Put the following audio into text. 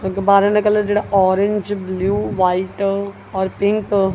ਦਾ colour ਜਿਹੜਾ orange blue white ਔਰ pink.